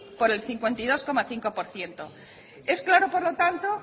por el cincuenta y dos coma cinco por ciento es claro por lo tanto